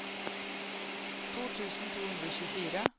to tusen to hundre og tjuefire